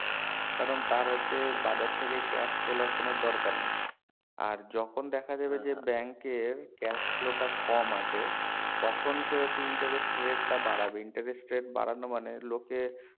কারণ তার হচ্ছে বাজার থেকে cash তোলার কোনো দরকার নেই আর যখন দেখা যাবে যে bank এর cash flow টা কম আছে তখন সে হচ্ছে interest rate টা বাড়াবে interest rate বাড়ানো মনে লোকে